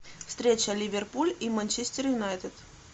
встреча ливерпуль и манчестер юнайтед